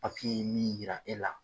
nin yira e la